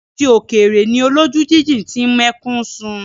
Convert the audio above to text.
Àti òkèrè ni olójú jíjìn ti ń mẹ́kún sun.